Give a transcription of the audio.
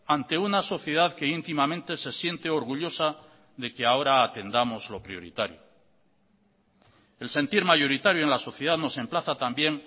ante una sociedad que íntimamente se siente orgullosa de que ahora atendamos lo prioritario el sentir mayoritario en la sociedad nos emplaza también